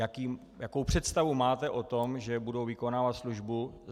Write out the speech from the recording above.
Jakou představu máte o tom, že budou vykonávat službu?